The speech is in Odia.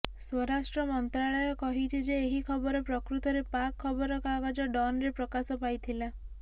ସ୍ୱରାଷ୍ଟ୍ର ମନ୍ତ୍ରାଳୟ କହିଛି ଯେ ଏହି ଖବର ପ୍ରକୃତରେ ପାକ୍ ଖବରକାଗଜ ଡନ୍ରେ ପ୍ରକାଶ ପାଇଥିଲା